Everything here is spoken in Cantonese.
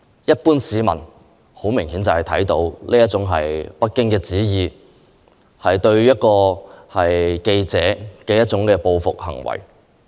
一般市民明顯感到這是北京的旨意，是對記者的報復行為。